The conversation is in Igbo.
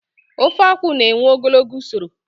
Ofeakwụ na-ewe ogologo usoro